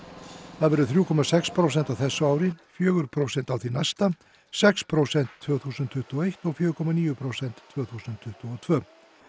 það verði þrjú komma sex prósent á þessu ári fjögur prósent á því næsta sex prósent tvö þúsund tuttugu og eitt og fjögur komma níu prósent tvö þúsund tuttugu og tvö